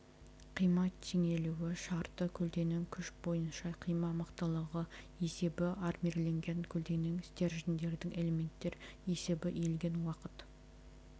қима теңелуі шарты көлденең күш бойынша қима мықтылығы есебі армирленген көлденең стерженьдердің элементтер есебі иілген уақыт